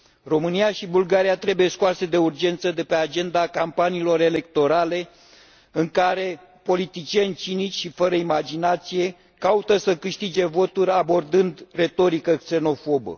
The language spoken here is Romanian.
România și Bulgaria trebuie scoase de urgență de pe agenda campaniilor electorale, în care politicieni cinici și fără imaginație caută să câștige voturi, abordând o retorică xenofobă.